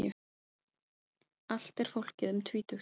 Allt er fólkið um tvítugt